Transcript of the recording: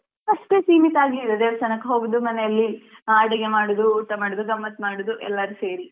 ಅಷ್ಟು ಸೀಮಿತಾಗ್ಲಿಲ್ಲಾ ದೇವಸ್ಥಾನಕ್ಕೆ ಹೋಗುದು ಮನೆಯಲ್ಲಿ ಆ ಅಡುಗೆ ಮಾಡುದು ಊಟ ಮಾಡುದು ಗಮ್ಮತ್ ಮಾಡುದು ಎಲ್ಲರು ಸೇರಿ.